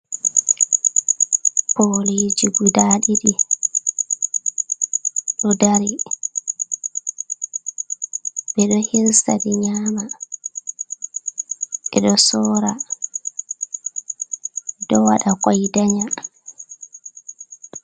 Pooliji gudaa ɗiɗi ɗo daari, ɓeɗo hirsaɗi nyaama ɓeɗo soora, ɗo waaɗa koi daanƴa.